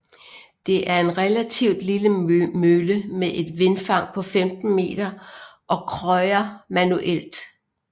Det er en relativt lille mølle med et vindfang på 15 meter og krøjer manuelt